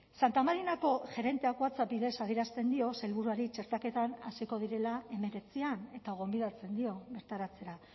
santa mariako gerenteak whatsapp bidez adierazten dio sailburuari txertaketan hasiko direla hemeretzian eta gonbidatzen dio bertaratzea